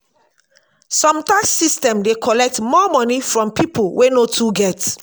some tax system dey collect more money from pipo wey no too get